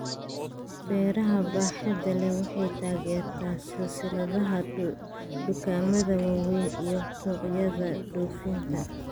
Beeraha baaxadda leh waxay taageertaa silsiladaha dukaamada waaweyn iyo suuqyada dhoofinta.